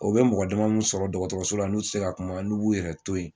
O bɛ mɔgɔ dama min sɔrɔ dɔgɔtɔrɔso la n'u tɛ se ka kuma n'u b'u yɛrɛ to yen